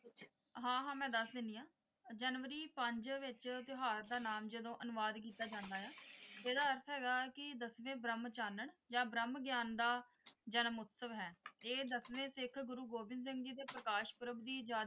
ਹਾਂ ਹਾਂ ਮੈਂ ਦੱਸ ਦਿੰਨੀ ਹਾਂ ਜਨਵਰੀ ਪੰਜ ਵਿੱਚ ਤਿਉਹਾਰ ਦਾ ਨਾਮ ਜਦੋਂ ਅਨੁਵਾਦ ਕੀਤਾ ਜਾਂਦਾ ਹੈ ਇਹਦਾ ਅਰਥ ਹੈਗਾ ਕਿ ਦਸਵੇਂ ਬ੍ਰਹਮ ਚਾਨਣ ਜਾਂ ਬ੍ਰਹਮ ਗਿਆਨ ਦਾ ਜਨਮ ਉਤਸਵ ਹੈ ਇਹ ਦਸਵੇਂ ਸਿੱਖ ਗੁਰੂ ਗੋਬਿੰਦ ਸਿੰਘ ਜੀ ਦੇ ਪ੍ਰਕਾਸ਼ ਪੂਰਵ ਦੀ ਯਾਦ।